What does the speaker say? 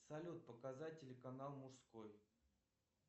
салют показать телеканал мужской